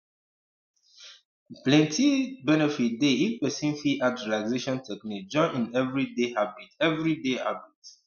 um plenty benefit dey if person fit add relaxation technique join im everyday habit everyday habit